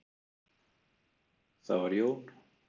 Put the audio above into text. Það var Jón